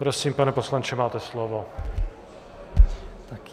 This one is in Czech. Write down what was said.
Prosím, pane poslanče, máte slovo.